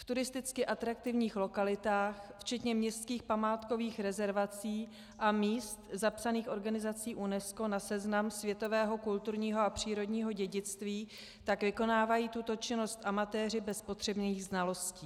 V turisticky atraktivních lokalitách včetně městských památkových rezervací a míst zapsaných organizací UNESCO na seznam světového kulturního a přírodního dědictví tak vykonávají tuto činnost amatéři bez potřebných znalostí.